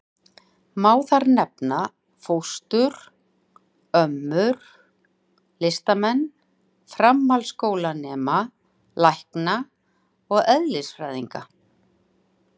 Má þar nefna: fóstrur, ömmur, listamenn, framhaldsskólanema, lækna og eðlisfræðinga.